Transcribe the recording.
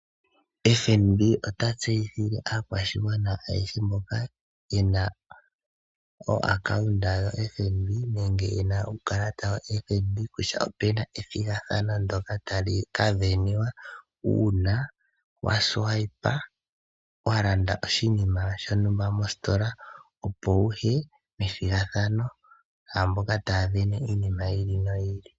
FNB ota tseyithile aakwashigwana ayehe mboka yena omayalulilo gombaanga FNB, nenge yena uukalata woFNB kutya opuna ethigathano ndjoka tali ka sindanwa, uuna walongitha okakalata koye kombaanga, wa landa oshinima shontumba mositola, opo wuye methigathano naamboka taa sindana iinima yi ili noyi ili.